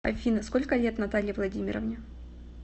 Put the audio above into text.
афина сколько лет наталье владимировне